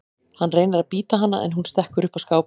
Hann reynir að bíta hana en hún stekkur upp á skáp.